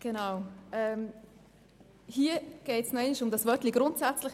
Hier geht es noch einmal um das Wörtchen «grundsätzlich».